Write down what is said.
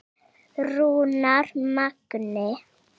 Rúnar Magni.